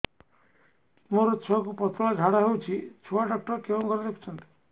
ମୋର ଛୁଆକୁ ପତଳା ଝାଡ଼ା ହେଉଛି ଛୁଆ ଡକ୍ଟର କେଉଁ ଘରେ ଦେଖୁଛନ୍ତି